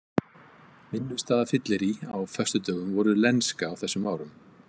Vinnustaðafyllirí á föstudögum voru lenska á þessum árum.